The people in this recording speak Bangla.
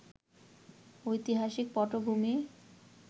ঐতিহাসিক পটভূমি